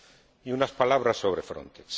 Y unas palabras sobre Frontex